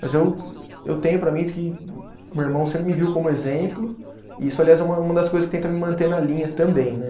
Mas eu, eu tenho para mim que o meu irmão sempre me viu como exemplo e isso, aliás, é uma das coisas que tenta me manter na linha também, né?